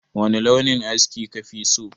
Wani launin aski ka fi so?